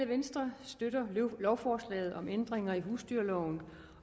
venstre støtter lovforslaget om ændringer i husdyrloven